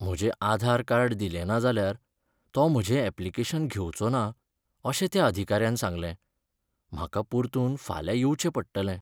म्हजें आधार कार्ड दिलेंना जाल्यार तो म्हजें ऍप्लिकेशन घेवचो ना अशें त्या अधिकाऱ्यान सांगलें. म्हाका परतून फाल्यां येवचें पडटलें.